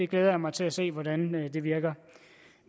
glæder mig til at se hvordan det virker